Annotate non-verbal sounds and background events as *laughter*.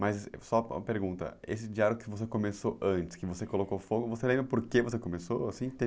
Mas só uma pergunta, esse diário que você começou antes, que você colocou fogo, você lembra por que você começou assim? *unintelligible*